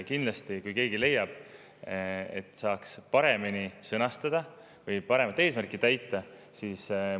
Kindlasti, kui keegi leiab, et saaks seda paremini sõnastada või paremat eesmärki täita, siis.